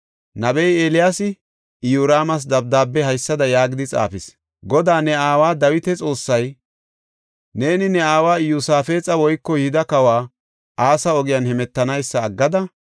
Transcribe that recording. Nabey Eeliyaasi Iyoraamas dabdaabe haysada yaagidi xaafis; “Goday, ne aawa Dawita Xoossay, ‘Neeni ne aawa Iyosaafexa woyko Yihuda kawa Asa ogiyan hemetanaysa aggada,